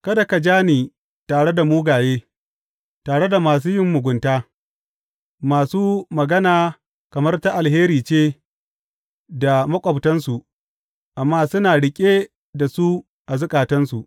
Kada ka ja ni tare da mugaye, tare da masu yin mugunta, masu magana kamar ta alheri ce da maƙwabtansu amma suna riƙe da su a zukatansu.